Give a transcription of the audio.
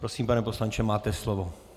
Prosím, pane poslanče, máte slovo.